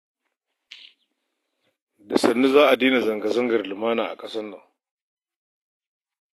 Da sannu za a daina zanga-zangar lumana a ƙasar nan tamu